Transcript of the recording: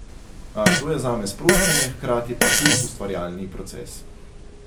A, to je zame sproščanje, hkrati pa hud ustvarjalni proces.